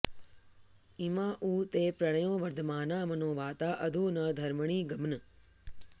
इमा उ ते प्रण्यो वर्धमाना मनोवाता अध नु धर्मणि ग्मन्